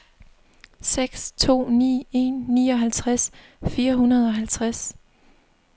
seks to ni en nioghalvtreds fire hundrede og halvtreds